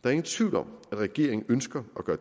er ingen tvivl om at regeringen ønsker at gøre